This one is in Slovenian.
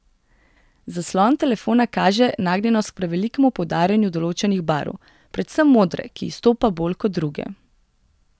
Zaslon telefona kaže nagnjenost k prevelikemu poudarjanju določenih barv, predvsem modre, ki izstopa bolj kot druge.